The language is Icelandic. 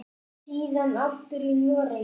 Síðan aftur í Noregi.